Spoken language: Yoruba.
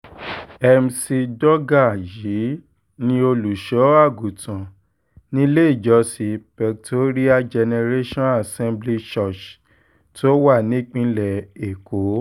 mcdougal yìí ní olùṣọ́àgùntàn nílé ìjọsìn pectorial generation assembly church tó wà nípìnlẹ̀ èkó